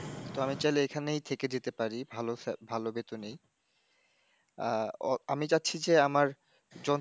তো আমি চাইলে এখানেই থেকে যেতে পারি, ভালো, ভালো বেতোনেই আহ, আমি চাচ্ছি যে আমার যন্ত্র,